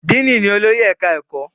díìnì ni olórí ẹ̀ka-ẹ̀kọ́